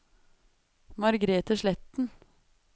Margrete Sletten